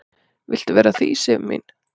"""Viltu vera að því, Sif mín?"""